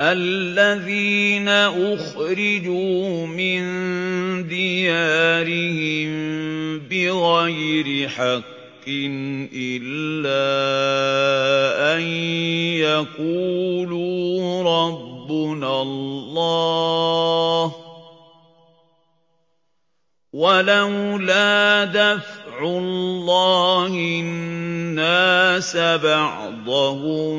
الَّذِينَ أُخْرِجُوا مِن دِيَارِهِم بِغَيْرِ حَقٍّ إِلَّا أَن يَقُولُوا رَبُّنَا اللَّهُ ۗ وَلَوْلَا دَفْعُ اللَّهِ النَّاسَ بَعْضَهُم